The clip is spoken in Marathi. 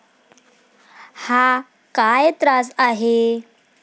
हा काय त्रास आहे?